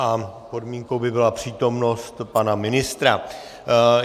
A podmínkou by byla přítomnost pana ministra.